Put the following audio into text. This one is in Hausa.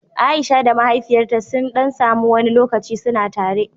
Aisha da mahaifiyarta suni ɗan samu wani lokaci suna tare